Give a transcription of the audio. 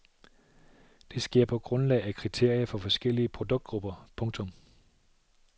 Det sker på grundlag af kriterier for forskellige produktgrupper. punktum